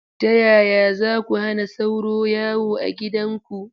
Ta yaya za ku hana sauro yawo a gidanku?